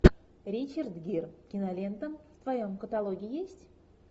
ричард гир кинолента в твоем каталоге есть